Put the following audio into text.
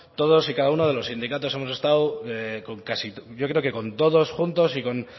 todos y cada uno de los sindicatos hemos estado con casi yo creo que con todos juntos y con